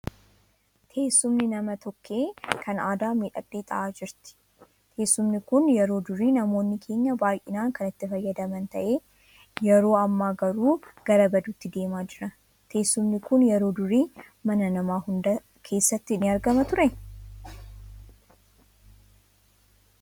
Teessumni nama tokkee kan aadaa miidhagdee tahaa jirti. Teessumni kun yeroo durii namoonni keenya baayyinaan kan itti fayyadaman tahee yeroo hammaa garuu gara baduutti deemaa jira. Teessumni kun yeroo durii mana nama hundaa keessatti ni argama ture?